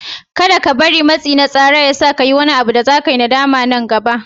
Kada ka bari matsi na tsara ya sa ka yi wani abu da za ka yi nadama daga baya.